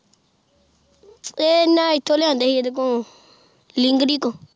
ਇਹ ਹਨ ਇਥੋਂ ਲਿਆਂਦੇ ਸੀ ਏਡੇ ਕੋ ਲਿੰਗਰੀ ਤੋਂ